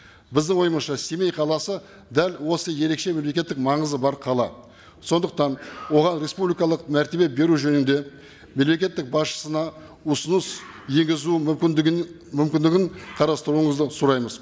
біздің ойымызша семей қаласы дәл осы ерекше мемлекеттік маңызы бар қала сондықтан оған республикалық мәртебе беру жөнінде мемлекеттің басшысына ұсыныс енгізу мүмкіндігін мүмкіндігін қарастыруыңызды сұраймыз